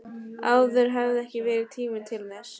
Áður hafði ekki verið tími til þess.